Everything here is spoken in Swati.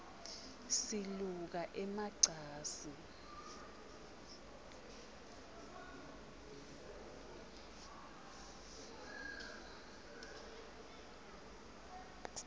siluka ema cansi